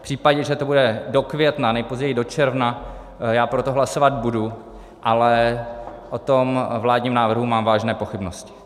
V případě, že to bude do května, nejpozději do června, já pro to hlasovat budu, ale o tom vládním návrhu mám vážné pochybnosti.